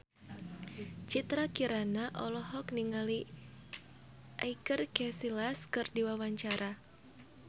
Citra Kirana olohok ningali Iker Casillas keur diwawancara